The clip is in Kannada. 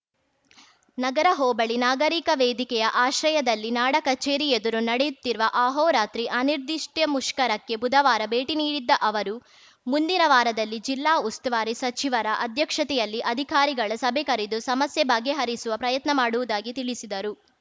ನಗರ ಹೋಬಳಿ ನಾಗರಿಕ ವೇದಿಕೆಯ ಆಶ್ರಯದಲ್ಲಿ ನಾಡ ಕಚೇರಿ ಎದುರು ನಡೆಯುತ್ತಿರುವ ಆಹೋರಾತ್ರಿ ಅನಿರ್ದಿಷ್ಟಮುಷ್ಕರಕ್ಕೆ ಬುಧವಾರ ಭೇಟಿ ನೀಡದ್ದ ಅವರು ಮುಂದಿನ ವಾರದಲ್ಲಿ ಜಿಲ್ಲಾ ಉಸ್ತುವಾರಿ ಸಚಿವರ ಅಧ್ಯಕ್ಷತೆಯಲ್ಲಿ ಅಧಿಕಾರಿಗಳ ಸಭೆ ಕರೆದು ಸಮಸ್ಯೆ ಬಗೆಹರಿಸುವ ಪ್ರಯತ್ನ ಮಾಡುವುದಾಗಿ ತಿಳಿಸಿದರು